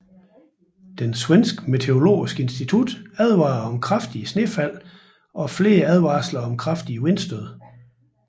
Det svenske meteorologiske institut advarede om kraftige snefald samt flere advarsler om kraftige vindstød